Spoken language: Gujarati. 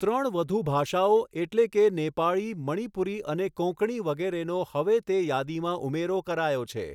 ત્રણ વધુ ભાષાઓ એટલે કે નેપાળી, મણીપુરી અને કોંકણી વગેરેનો હવે તે યાદીમાં ઉમેરો કરાયો છે.